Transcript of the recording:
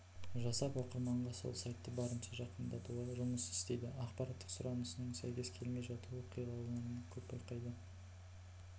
жасап оқырманға сол сайтты барынша жақындатуға жұмыс істейді ақпараттық сұранысының сәйкес келмей жатуы оқиғаларын көп байқады